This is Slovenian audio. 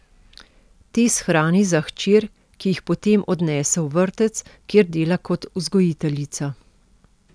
Te shrani za hčer, ki jih potem odnese v vrtec, kjer dela kot vzgojiteljica.